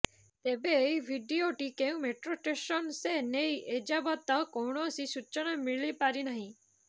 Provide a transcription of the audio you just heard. ତେବେ ଏହି ଭିଡିଓଟି କେଉଁ ମେଟ୍ରୋ ଷ୍ଟେସନ୍ର ସେ ନେଇ ଏଯାବତ କୌଣସି ସୂଚନା ମିଳି ପାରିନାହିଁ